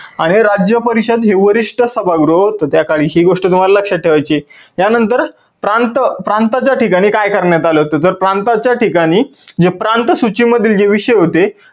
आणि राज्य परिषद हे वरिष्ठ सभागृह होत त्या वेळी ही गोष्ट तुम्हाला लक्षात ठेवायची आहे. त्या नंतर प्रांत प्रांताच्या ठिकाणी काय करण्यात आलं होत तर प्रांताच्या ठिकाणी जे प्रांत सूची मधील जे विषय होते